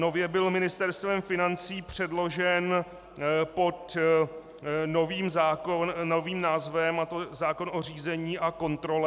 Nově byl Ministerstvem financí předložen pod novým názvem, a to zákon o řízení a kontrole.